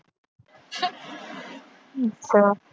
ਅੱਛਾ।